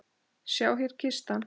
Sjá, hér er kistan.